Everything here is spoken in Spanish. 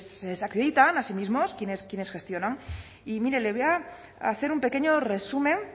pues se desacreditan a sí mismos quienes gestionan y mire le voy a hacer un pequeño resumen